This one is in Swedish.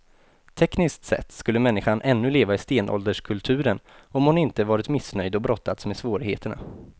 Tekniskt sett skulle människan ännu leva i stenålderskulturen om hon inte varit missnöjd och brottats med svårigheterna.